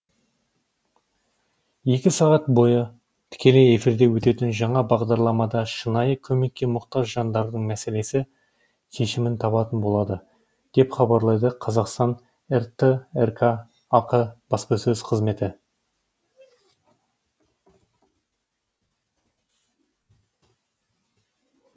екі сағат бойы тікелей эфирде өтетін жаңа бағдарламада шынайы көмекке мұқтаж жандардың мәселесі шешімін табатын болады деп хабарлайды қазақстан ртрк ақ баспасөз қызметі